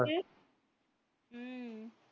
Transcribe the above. உம்